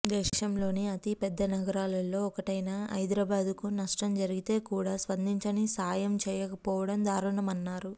దేశంలోని అతి పెద్ద నగరాల్లో ఒకటైన హైదరాబాద్కు నష్టం జరిగితే కూడా స్పందించి సాయం చేయకపోవడం దారుణమన్నారు